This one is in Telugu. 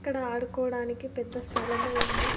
ఇక్కడ ఆడుకోడానికి పెద్ద స్థలము ఉంది.